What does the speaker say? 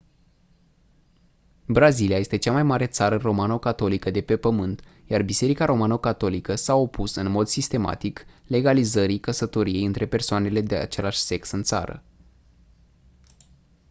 brazilia este cea mai mare țară romano-catolică de pe pământ iar biserica romano-catolică s-a opus în mod sistematic legalizării căsătoriei între persoanele de același sex în țară